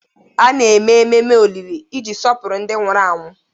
A na-eme ememe olili iji sọpụrụ ndị nwụrụ anwụ.